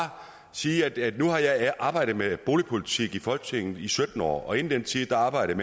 sige at nu har jeg arbejdet med boligpolitik i folketinget i sytten år og inden den tid arbejdede